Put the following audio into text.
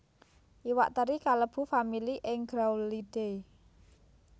Iwak teri kalebu famili Engraulidae